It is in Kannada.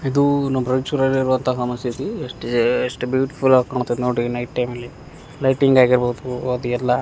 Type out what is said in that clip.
ಇದೂ ನಮ್ಮ ರಯ್ಚೂರ್ ಅಲ್ಲಿರುವಂತ ಮಸೀದಿ ಎಸ್ಟ ಎಎ ಎಸ್ಟ್ ಬ್ಯೂಟಿಫುಲ್ ಆಗ್ ಕಾಣಾತೈತ್ ನೋಡ್ರಿ ನೈಟ್ ಟೈಮ್ ಅಲ್ಲಿ ಲೈಟಿಂಗ್ ಆಗಿರ್ಬೋದು ಅದು ಎಲ್ಲ --